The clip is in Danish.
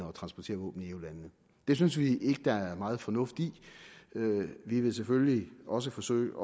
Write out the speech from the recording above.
og transportere våben i eu landene det synes vi ikke der er meget fornuft i vi vil selvfølgelig også forsøge